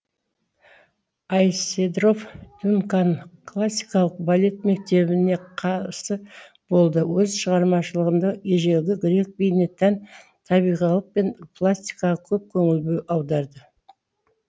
айседора дункан классикалық балет мектебіне қарсы болды өз шығармашылығында ежелгі грек биіне тән табиғилық пен пластикаға көп көңіл аударды